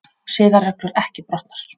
Siðareglur ekki brotnar